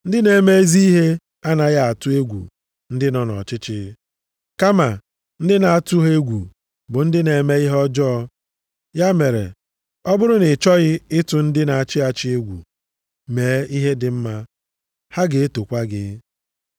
Ndị na-eme ezi ihe anaghị atụ egwu ndị nọ nʼọchịchị, kama ndị na-atụ ha egwu bụ ndị na-eme ihe ọjọọ, ya mere ọ bụrụ na ị chọghị ịtụ ndị na-achị achị egwu, mee ihe dị mma, ha ga-etokwa gị.